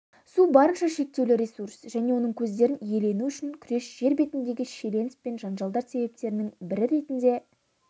су барынша шектеулі ресурс және оның көздерін иелену үшін күрес жер бетіндегі шиеленіс пен жанжалдар себептерінің бірі ретінде